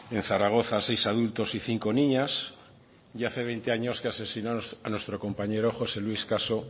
en zaragoza a seis adultos y cinco niñas y hace veinte años que asesinó a nuestro compañero josé luis caso